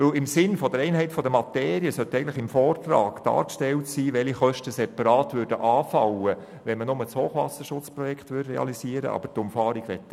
Denn im Sinne der Einheit der Materie sollte eigentlich im Vortrag dargestellt sein, welche Kosten separat anfallen würden, wenn man nur das Hochwasserschutzprojekt realisiert.